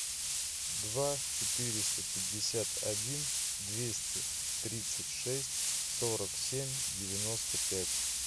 два четыреста пятьдесят один двести тридцать шесть сорок семь девяносто пять